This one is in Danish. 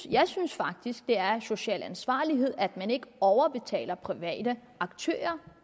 jeg synes faktisk at det er social ansvarlighed at man ikke overbetaler private aktører